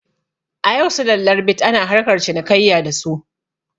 A yau sulallar bit ana harkar cinikayya da su